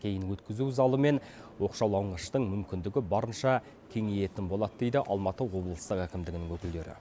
кейін өткізу залы мен оқшаулағыштың мүмкіндігі барынша кеңейетін болады дейді алматы облыстық әкімдігінің өкілдері